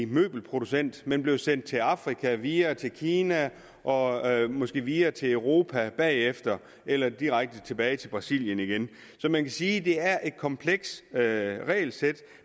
møbelproducent men blev sendt til afrika videre til kina og måske videre til europa bagefter eller direkte tilbage til brasilien igen så man kan sige at det er et komplekst regelsæt